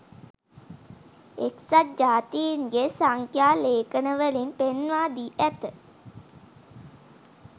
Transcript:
එක්සත් ජාතින්ගේ සංඛ්‍යා ලේඛනවලින් පෙන්වාදී ඇත